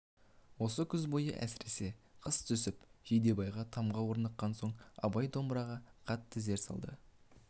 осы күз бойы әсіресе қыс түсіп жидебайға тамға орныққан соң абай домбыраға қатты зер салды